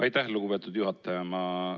Aitäh, lugupeetud juhataja!